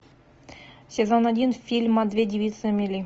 сезон один фильма две девицы на мели